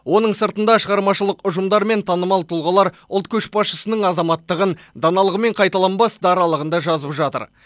оның сыртында шығармашылық ұжымдар мен танымал тұлғалар ұлт көшбасшысының азаматтығын даналығы мен қайталанбас даралығын да жазып жатыр